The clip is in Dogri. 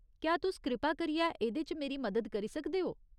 क्या तुस कृपा करियै एह्दे च मेरी मदद करी सकदे ओ ?